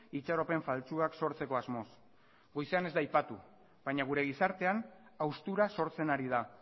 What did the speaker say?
itxaropen faltsuak sortzeko asmoz goizean ez da aipatu baina gure gizartean haustura sortzen ari da